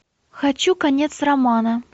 хочу конец романа